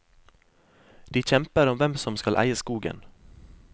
De kjemper om hvem som skal eie skogen.